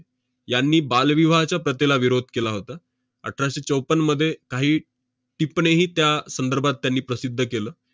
यांनी बालविवाहाच्या प्रथेला विरोध केला होता. अठराशे चौपन्नमध्ये काही टिपणीही त्या संदर्भात त्यांनी प्रसिद्ध केलं.